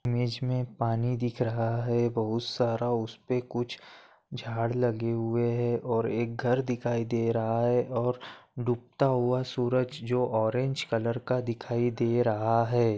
Image मे पानी दिख रहा है बहुत सारा उसपे कुछ झाड लगे हुए है और एक घर दिखाई दे रहा है और डुबता हुआ सूरज जो ऑरेंज कलर का दिखाई दे रहा है।